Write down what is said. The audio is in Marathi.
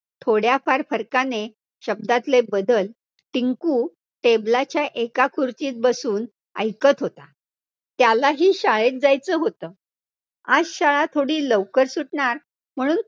थोड्याफार फरकाने, शब्दातले बदल टिंकु table च्या एका खुर्चीत बसून ऐकत होता, त्यालाही शाळेत जायचं होतं. आज शाळा थोडी लवकर सुटणार म्हणून